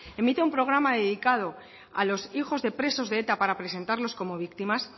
emita un programa dedicado a los hijos de presos de eta para presentarlos como víctimas